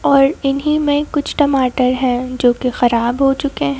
और इन्हीं में कुछ टमाटर हैं जो कि खराब हो चुके हैं।